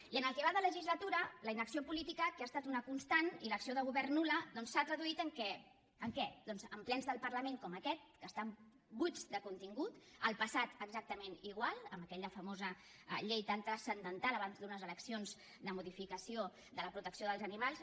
i en el que va de legislatura la inacció política que ha estat una constant i l’acció de govern nul·la doncs s’han traduït en què doncs en plens del parlament com aquest que estan buits de contingut el passat exactament igual amb aquella famosa llei tan transcendental abans d’unes eleccions de modificació de la protecció dels animals